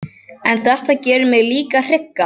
En þetta gerir mig líka hrygga.